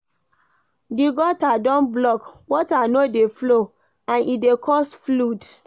Di gutter don block, water no dey flow and e dey cause flood